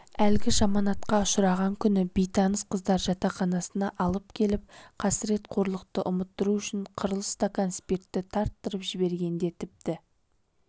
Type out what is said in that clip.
әлгі жаманатқа ұшыраған күні бейтаныс қыздар жатақханасына алып келіп қасырет-қорлықты ұмыттыру үшін қырлы стакан спиртті тарттыртып жібергенде тіпті